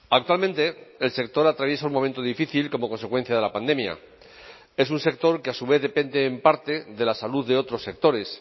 actualmente el sector atraviesa un momento difícil como consecuencia de la pandemia es un sector que a su vez depende en parte de la salud de otros sectores